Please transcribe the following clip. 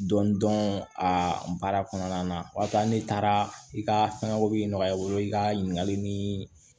Dɔndɔn a baara kɔnɔna na o ya sɔrɔ ne taara i ka fɛngɛw bɛ nɔgɔya i bolo i ka ɲininkali ni